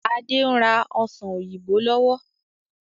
Adé ń rà ọ́ṣán òyìnbó lọ́wọ́.